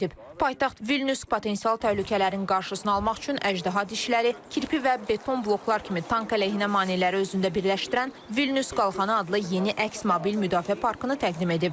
Paytaxt Vilnius potensial təhlükələrin qarşısını almaq üçün əjdaha dişləri, kirpi və beton bloklar kimi tank əleyhinə maneələri özündə birləşdirən Vilnius qalxanı adlı yeni əks mobil müdafiə parkını təqdim edib.